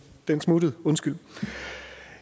den smuttede undskyld